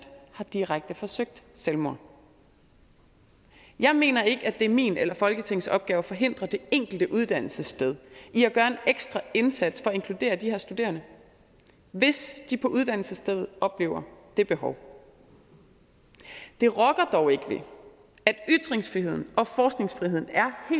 har direkte forsøgt selvmord jeg mener ikke at det er min eller folketingets opgave at forhindre det enkelte uddannelsessted i at gøre en ekstra indsats for at inkludere de her studerende hvis de på uddannelsesstedet oplever det behov det rokker dog ikke ved at ytringsfriheden og forskningsfriheden er